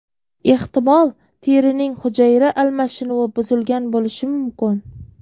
Ehtimol, terining hujayra almashinuvi buzilgan bo‘lishi mumkin.